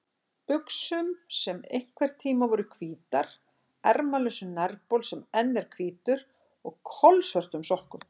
buxum sem einhverntíma voru hvítar, ermalausum nærbol sem enn er hvítur og kolsvörtum sokkum.